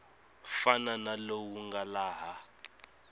fana na lowu nga laha